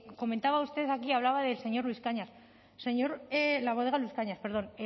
comentaba usted aquí hablaba del señor luis cañas el señor la bodega luis cañas perdón